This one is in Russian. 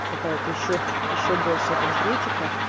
какая-то ещё ещё большая конкретика